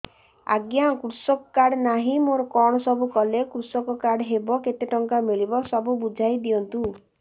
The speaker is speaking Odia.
ଆଜ୍ଞା କୃଷକ କାର୍ଡ ନାହିଁ ମୋର କଣ ସବୁ କଲେ କୃଷକ କାର୍ଡ ହବ କେତେ ଟଙ୍କା ମିଳିବ ସବୁ ବୁଝାଇଦିଅନ୍ତୁ